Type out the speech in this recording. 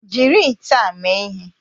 Jiri ite a mee ihe!